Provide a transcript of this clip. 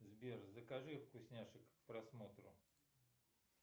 сбер закажи вкусняшек к просмотру